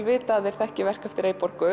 vita að þeir þekki verk eftir